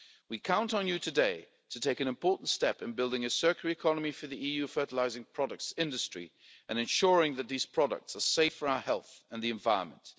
found. We count on you today to take an important step in building a circular economy for the EU fertilising products industry and ensuring that these products are safe for our health and the environment.